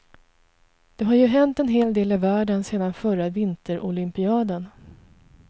Det har ju hänt en hel del i världen sedan förra vinterolympiaden.